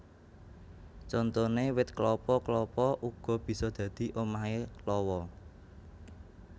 Contoné wit klapa klapa uga bisa dadi omahé lawa